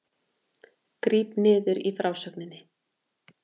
Gríp niður í frásögninni